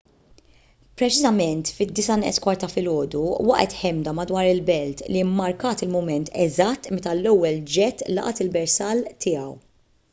preċiżament fit-8:46 ta’ filgħodu waqgħet ħemda madwar il-belt li mmarkat il-mument eżatt meta l-ewwel ġett laqat il-bersall tiegħu